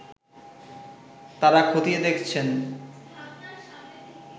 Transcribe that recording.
তারা খতিয়ে দেখছেন